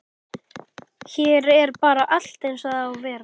Hér er bara allt eins og það á að vera.